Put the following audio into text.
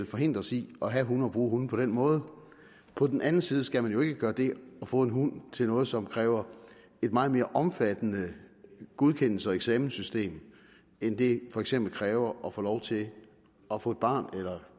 forhindres i at have hunde og bruge hunde på den måde på den anden side skal man jo ikke gøre det at få en hund til noget som kræver et meget mere omfattende godkendelses og eksamenssystem end det for eksempel kræver at få lov til at få et barn eller